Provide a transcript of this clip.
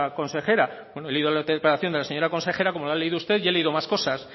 consejera bueno he leído la interpelación de la señora consejera como la ha leído usted y he leído más cosas